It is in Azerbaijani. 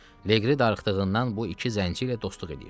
Leqri darıxdığından bu iki zənci ilə dostluq edirdi.